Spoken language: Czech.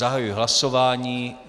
Zahajuji hlasování.